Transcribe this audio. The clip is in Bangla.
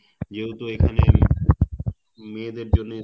যেহেতু এখানে মেয়েদের জন্যে